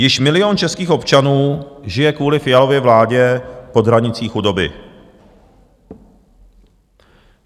Již milion českých občanů žije kvůli Fialově vládě pod hranicí chudoby.